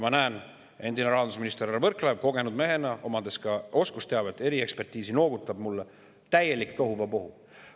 Ma näen, et endine rahandusminister härra Võrklaev kogenud mehena, omades ka oskusteavet ja eriekspertiisi, noogutab mulle – täielik tohuvabohu.